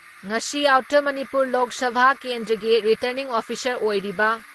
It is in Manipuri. ꯉꯁꯤ ꯑꯥꯎꯇꯔ ꯃꯅꯤꯄꯨꯔ ꯂꯣꯛ ꯁꯚꯥ ꯀꯦꯟꯗ꯭ꯔꯒꯤ ꯔꯤꯇꯔꯅꯤꯡ ꯑꯣꯐꯤꯁꯥꯔ ꯑꯣꯏꯔꯤꯕ